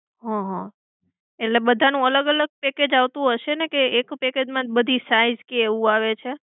હમ એટલે બધાનું અલગ અલગ package આવતું હશે ને? કે એક package માં જ બધી size કે એવું આવે છે?